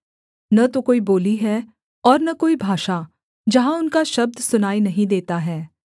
न तो कोई बोली है और न कोई भाषा जहाँ उनका शब्द सुनाई नहीं देता है